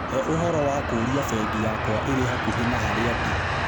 he ũhoro wa kũrĩa bengi yakwa ĩrĩ hakuhĩ na harĩa ndĩ